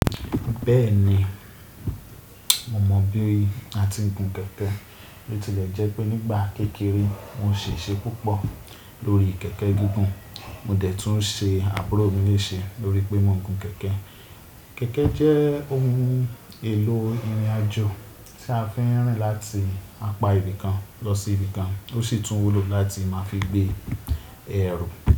Bẹ́ẹ̀ni, mo mọ bí a ti ń gun kẹ̀kẹ́. Bó tilẹ̀ jẹ́ pé nígbà kékeré mo ṣìṣe púpọ̀ lórí kẹ̀kẹ́ gígùn. Mo dẹ̀ tún ṣe àbúrò mí léèṣe lórí pé mo ń gun kẹ̀kẹ́. Kẹ̀kẹ́ jẹ́ ohun èlò ìrìnàjò tí a fi ń rìn láti apa ibì kan lọ sí ibì kan. Ó sì tún wúlò láti máa fi gbé ẹrù.